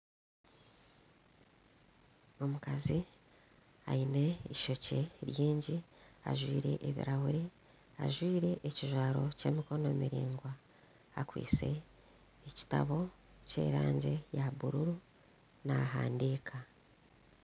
Omukazi aine eishookye ringi ajwaire ebirahuri ajwaire ekijwaro kyemikono miraingwa akwaitse ekitabo kyerangi eya bururu nahandiika